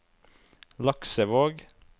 Laksevåg